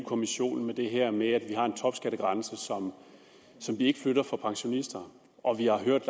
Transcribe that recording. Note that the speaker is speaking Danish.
kommissionen med det her med at vi har en topskattegrænse som vi ikke flytter for pensionister og vi har hørt